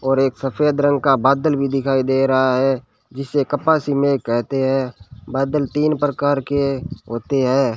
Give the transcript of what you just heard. और एक सफेद रंग का बादल भी दिखाई दे रहा है जिसे कपासी मेघ कहते हैं बादल तीन प्रकार के होते हैं।